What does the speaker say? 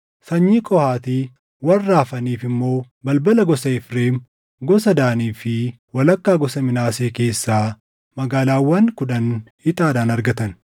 Sanyii Qohaati warra hafaniif immoo balbala gosa Efreem, gosa Daanii fi walakkaa gosa Minaasee keessaa magaalaawwan kudhan ixaadhaan argatan.